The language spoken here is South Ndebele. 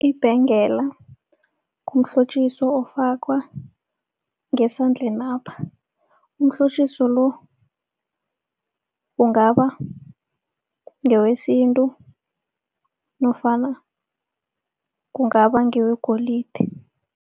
Ibhengela mhlotjiswo ofakwa ngesandlenapha, umhlotjiso lo ungaba ngewesintu nofana kungaba ngewegolide.